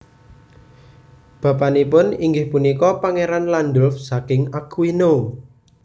Bapanipun inggih punika Pangeran Landulf saking Aquino